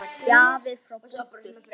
Gjafir frá Búddu.